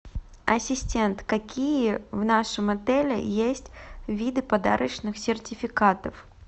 ассистент какие в нашем отеле есть виды подарочных сертификатов